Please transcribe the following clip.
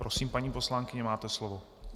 Prosím, paní poslankyně, máte slovo.